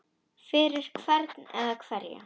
Fyrir hvern eða hverja?